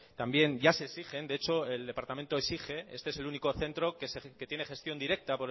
también ya se exigen de hecho el departamento exige este es el único centro que tiene gestión directa